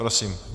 Prosím.